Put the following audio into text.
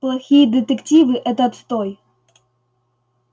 плохие детективы это отстой